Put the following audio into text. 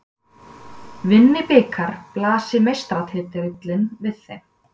Vinni Blikar blasir meistaratitillinn við þeim